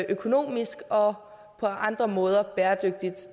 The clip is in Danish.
økonomisk og på andre måder bæredygtigt